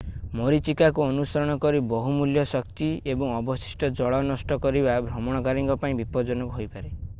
ମରୀଚିକାକୁ ଅନୁସରଣ କରି ବହୁମୂଲ୍ୟ ଶକ୍ତି ଏବଂ ଅବଶିଷ୍ଟ ଜଳ ନଷ୍ଟ କରିବା ଭ୍ରମଣକାରୀଙ୍କ ପାଇଁ ବିପଜ୍ଜନକ ହୋଇପାରେ